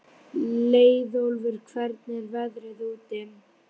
Leiðólfur, hvernig er veðrið úti?